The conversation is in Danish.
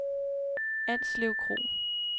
Alslev Kro